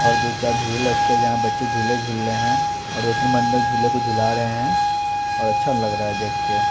और दो चार झूले लटके हैं जहाँ बच्चे झूला झूल रहे हैं और दो तीन बन्दर झूले को झुला रहे हैं और अच्छा लग रहा है देख के।